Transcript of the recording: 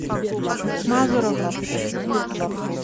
мазуровым